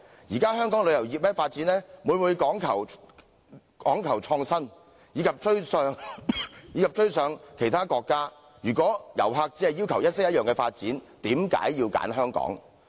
現時香港旅遊業發展每每講求創新，以及要追上其他國家，如果遊客只要求一式一樣的發展，為何要選香港？